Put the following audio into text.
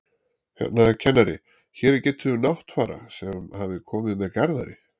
Hérna, kennari, hér er getið um Náttfara sem hafi komið með Garðari